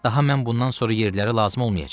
Daha mən bundan sonra yerləri lazım olmayacam.